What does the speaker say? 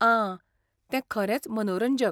आ, तें खरेंच मनोरंजक.